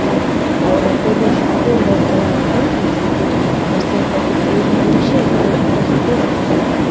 aru opor te hoise koile tu red colour laga tina ase aru side te khori khan bhi bisi ase aru eta khan bhi rakhi kina ase.